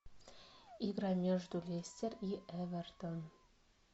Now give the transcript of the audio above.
игра между лестер и эвертон